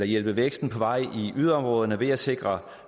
hjælpe væksten på vej i yderområderne ved at sikre